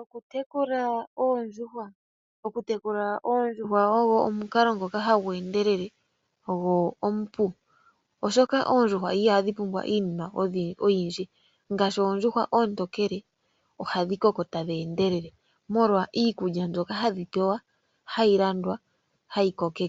Okutekula oondjuhwa . Okutekula oondjuhwa ogwo omukalo ngoka hagu endelele go omupu oshoka ondjuhwa ihadhi pumbwa iinima oyindji ngaashi oondjuhwa oontokele ohadhi koko tadhi endelele molwa iikulya mbyono hadhi pewa hayi landwa . Iikulya